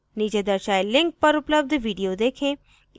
नीचे दर्शाये link पर उपलब्ध video देखें